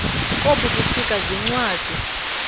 kobu busika ziincwadi